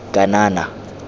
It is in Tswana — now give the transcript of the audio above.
kanana